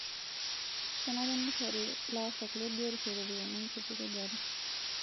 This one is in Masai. Kenare nishori laasak le biotisho ropiyani enkitukujare